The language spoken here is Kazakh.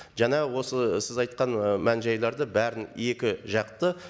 жаңағы осы сіз айтқан і мән жайларды бәрін екі жақты